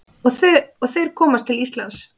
Og þeir komast til Íslands.